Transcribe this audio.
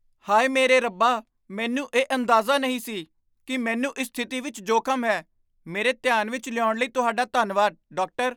ਹਾਏ ਮੇਰੇ ਰੱਬਾ! ਮੈਨੂੰ ਇਹ ਅੰਦਾਜ਼ਾ ਨਹੀਂ ਸੀ ਕਿ ਮੈਨੂੰ ਇਸ ਸਥਿਤੀ ਵਿਚ ਜੋਖ਼ਮ ਹੈ। ਮੇਰੇ ਧਿਆਨ ਵਿੱਚ ਲਿਆਉਣ ਲਈ ਤੁਹਾਡਾ ਧੰਨਵਾਦ, ਡਾਕਟਰ।